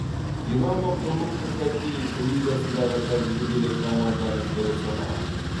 динамо құрлықтық хоккей лигасындағы тәжірибелі команданың бірі саналады